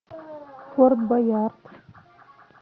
форт боярд